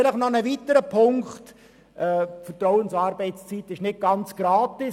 Ein weiterer Punkt: Vertrauensarbeitszeit ist nicht ganz gratis.